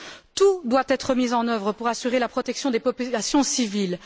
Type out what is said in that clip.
Tout doit être mis en œuvre pour assurer la protection des populations civiles.